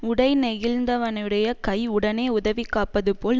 உடைநெகிழ்ந்தவனுடைய கை உடனே உதவிக்காப்பது போல்